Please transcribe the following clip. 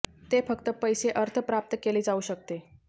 ते फक्त पैसे अर्थ प्राप्त केले जाऊ शकते